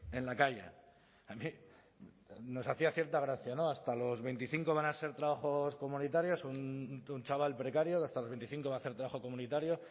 en la calle a mí nos hacía cierta gracia no hasta los veinticinco van a ser trabajos comunitarios un chaval precario hasta los veinticinco va a hacer trabajo comunitario